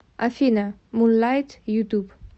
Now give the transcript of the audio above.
афина мунлайт ютуб